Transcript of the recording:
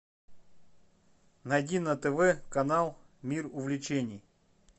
найди на тв канал мир увлечений